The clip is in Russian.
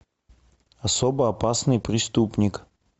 особо опасный преступник